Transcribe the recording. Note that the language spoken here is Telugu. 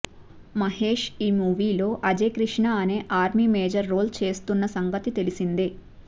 మహేష్ ఈ మూవీలో అజయ్ కృష్ణ అనే ఆర్మీ మేజర్ రోల్ చేస్తున్న సంగతి తెలిసిందే